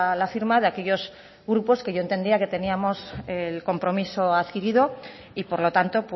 la firma de aquellos grupos que yo entendía que teníamos el compromiso adquirido y por lo tanto